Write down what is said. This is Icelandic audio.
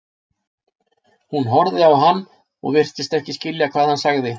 Hún horfði á hann og virtist ekki skilja hvað hann sagði.